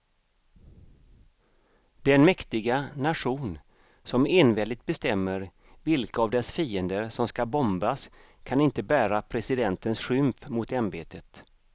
Den mäktiga nation som enväldigt bestämmer vilka av dess fiender som ska bombas kan inte bära presidentens skymf mot ämbetet.